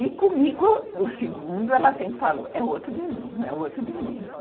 E comigo, o segundo, ela sempre falou, é o outro menino, é o outro menino.